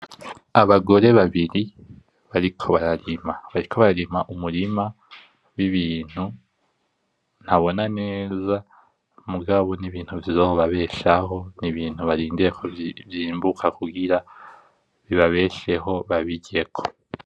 Abagore babiri bariko bararima umurima w' ibintu ntabona neza, mugabo n' ibintu bizobabeshaho n' ibintu barindiriye yuko vyimbuka kugira bibabesheho babiryeko.